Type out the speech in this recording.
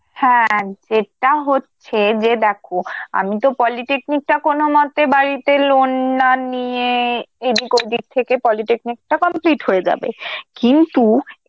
হ্যাঁ যেটা হচ্ছে যে দেখো আমি তো polytechnic টা কোন মতে বাড়িতে loan না নিয়ে, এইদিক ওইদিক থেকে polytechnic টা complete হয়ে যাবে, কিন্তু